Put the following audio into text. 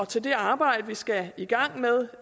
til det arbejde vi skal i gang med